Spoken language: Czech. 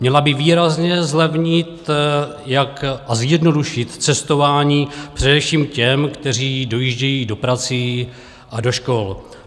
Měla by výrazně zlevnit a zjednodušit cestování především těm, kteří dojíždějí za prací a do škol.